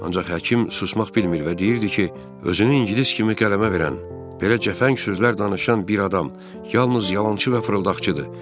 Ancaq həkim susmaq bilmir və deyirdi ki, özünü ingilis kimi qələmə verən, belə cəfəng sözlər danışan bir adam yalnız yalançı və fırıldaqçıdır.